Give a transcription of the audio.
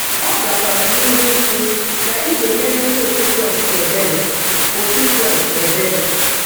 Ọ aga kwara n'ihu ikwu, na ị ga-emere Ndị otu Kraịst ebere. otu Kraịst ebere.